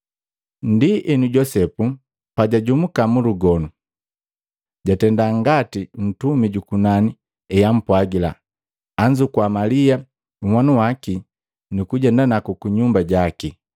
Ndienu, Josepu pa jwajumuka mu lugonu jatenda ngati ntumi jukunani eampwagila, anzukua Malia nhwanu waki, nukujenda naku kunyumba jaki.